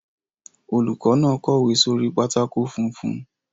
Olùkọ́ náà kọ̀wé sórí pátákó funfun.